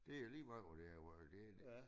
Det er lige meget hvor det er hvor det de